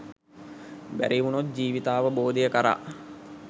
බැරිවුනොත් ජීවිතාවබෝධය කරා